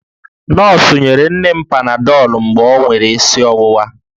Nọọsụ nyere nne m panadọlụ mgbe o nwere isi ọwụwa